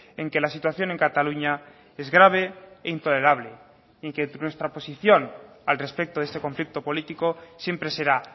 en que la situación en cataluña es grave e intolerable en que nuestra posición al respecto de este conflicto político siempre será